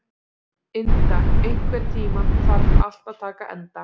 Inda, einhvern tímann þarf allt að taka enda.